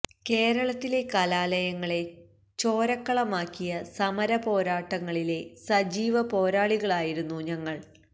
കേരളത്തിലെ കാലലയങ്ങളെ ചോരക്കളമാക്കിയ സമര പോരാട്ടങ്ങളിലെ സജീവ പോരാളികളായിരുന്നു ഞങ്ങള്